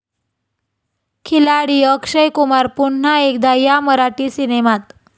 खिलाडी अक्षय कुमार पुन्हा एकदा 'या' मराठी सिनेमात!